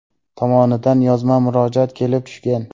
tomonidan yozma murojaat kelib tushgan.